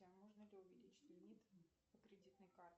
можно ли увеличить лимит по кредитной карте